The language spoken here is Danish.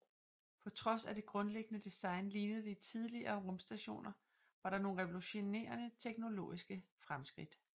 På trods af at det grundliggende design lignede de tidligere rumstationer var der nogle revolutionerende teknologiske fremskridt